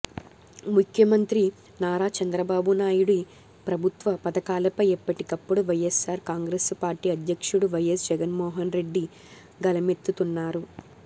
ముఖ్యమంత్రి నారా చంద్రబాబు నాయుడి ప్రభుత్వ పథకాలపై ఎప్పటికప్పుడు వైయస్సార్ కాంగ్రెసు పార్టీ అధ్యక్షుడు వైయస్ జగన్మోహన్ రెడ్డి గళమెత్తుతున్నారు